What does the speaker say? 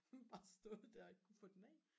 bare stået der og ikke kunne få den af